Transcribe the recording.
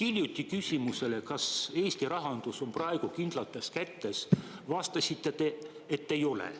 Hiljutisele küsimusele, kas Eesti rahandus on praegu kindlates kätes, vastasite teie, et ei ole.